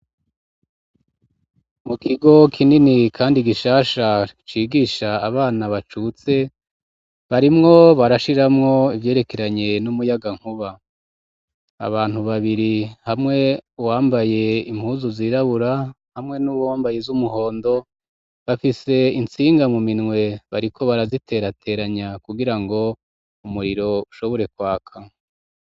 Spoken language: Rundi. Mu kigo kinini kandi gishasha, cigisha abana bacutse ,barimwo barashiramwo ivyerekeranye n'umuyagankuba ,abantu babiri hamwe wambaye impuzu zirabura ,hamwe n'uwambaye iz'umuhondo ,bafise insinga mu minwe, bariko baraziterateranya ,kugira ngo umuriro ushobore kwaka.